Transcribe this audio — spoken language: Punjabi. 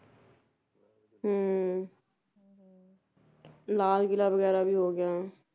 ਹੁੰ ਲਾਲ ਕਿਲ੍ਹਾ ਵਗੈਰਾ ਵੀ ਹੋ ਗਿਆ